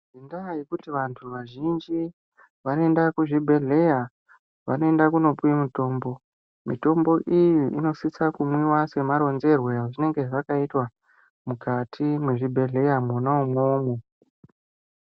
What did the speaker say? Ngendaa yekuti vantu vazhinji vanoenda kuzvibhedhleya vanoenda kunopuwe mutombo mutombo iyi inosise kumwiwa semaronzerwe ezvinenge zvakaitwa mukati mwezvibhedhleya mwona umwomwo.